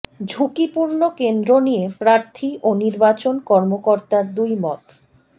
ঝুঁকিপূর্ণ কেন্দ্র নিয়ে প্রার্থী ও নির্বাচন কর্মকর্তার দুই মত